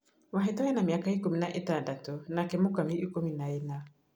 Wahĩto ena mĩaka ikũmi na ĩtandatũ nake Mũkami ikũmi na ĩna